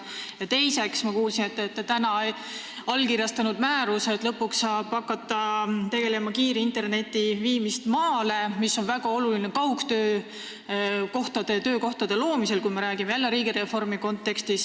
Ja teiseks, ma kuulsin, et te allkirjastasite täna määruse, mistõttu saab lõpuks hakata tegelema kiire interneti maale viimisega, mis on väga oluline töökohtade, sh kaugtöökohtade loomisel, kui me räägime jälle riigireformi kontekstis.